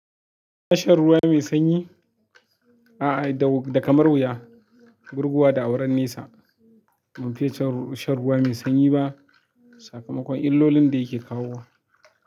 Shan ruwa mai sanyi a'a, da kamar wuya, gurguwa da auren nesa. Ban fiya shan ruwa mai sanyi ba sakamakon illolin da yake kawo wa.